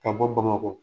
Ka bɔ bamakɔ